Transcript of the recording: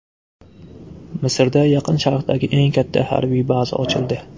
Misrda Yaqin Sharqdagi eng katta harbiy baza ochildi.